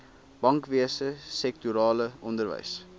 bankwese sektorale onderwys